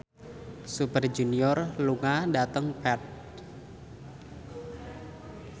Super Junior lunga dhateng Perth